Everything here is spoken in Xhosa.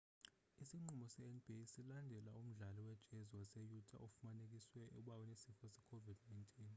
isinqumo se-nba silandela umdlali we-jazz wase-utah ofumanekiswe uba unesifo se-covid-19